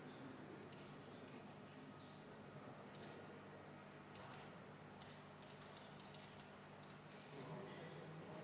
Kindlasti on mingisugused võimalused, millal see jääbki saamata.